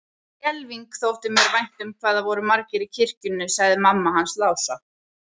Skelfing þótti mér vænt um hvað það voru margir í kirkjunni, sagði mamma hans Lása.